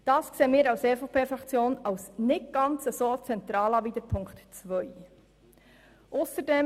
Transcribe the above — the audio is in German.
Dies erachten wir als EVP-Fraktion als nicht ganz so zentral wie die Forderung von Ziffer 2. Ausserdem: